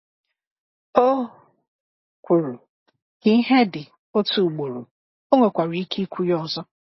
O kwuru, “Ka ìhè dị” otu ugboro, ọ nwekwara ike ikwu ya ọzọ.